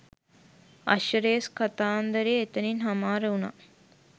අශ්ව race කතාන්දරය එතනින් හමාර වුණා.